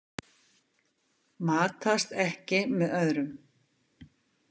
Matast ekki með öðrum.